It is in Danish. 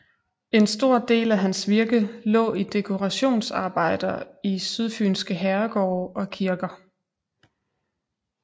En stor del af hans virke lå i dekorationsarbejder i sydfynske herregårde og kirker